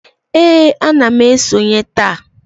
Ee, ana m esonye taa